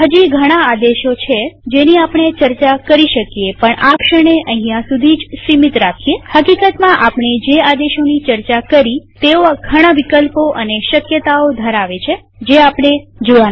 હજી ઘણા આદેશો છે જેની આપણે ચર્ચા કરી શકીએ પણ આ ક્ષણે અહીંયા સુધી જ સીમિત રાખીએહકીકતમાં આપણે જે આદેશોની ચર્ચા કરી તેઓ ઘણા વિકલ્પો અને શક્યતાઓ ધરાવે છે જે આપણે જોયા નથી